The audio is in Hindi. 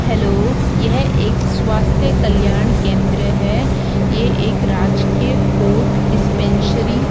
हेलो यह एक स्वास्थ्य कल्याण केंद्र है ये एक राजकीय कोर्ट डिस्पेंसरी --